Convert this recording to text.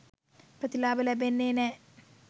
ප්‍රතිලාභ ලැබෙන්නේ නෑ.